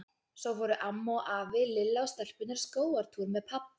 Svo fóru amma og afi, Lilla og stelpurnar í skógartúr með pabba.